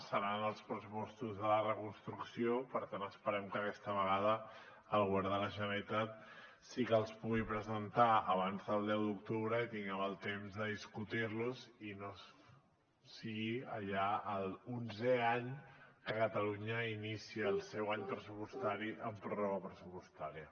seran els pressupostos de la reconstrucció per tant esperem que aquesta vegada el govern de la generalitat sí que els pugui presentar abans del deu d’octubre i tinguem el temps de discutir los i no sigui ja l’onzè any que catalunya inicia el seu any pressupostari amb pròrroga pressupostària